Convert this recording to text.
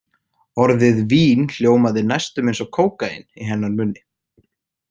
Orðið vín hljómaði næstum eins og kókaín í hennar munni.